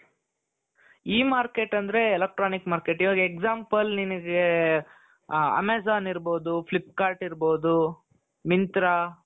E-market ಅಂದ್ರೆ electronic market ಇವಾಗ example ನಿಮಗೆ Amazon ಇರಬಹುದು Flip kart ಇರಬಹುದು Myntra